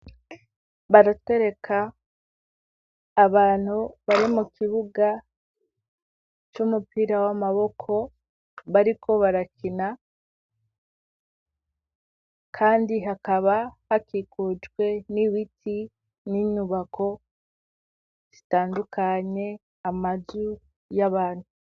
baratwereka abantu bari mu kibuga c'umupira w'amaboko bariko barakina kandi hakaba hakikujwe n'ibiti n'inyubako zitandukanye amazu y'abantu.